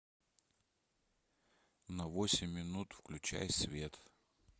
на восемь минут включай свет